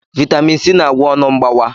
Vaitamin C na-agwọ ọnụ mgbawa.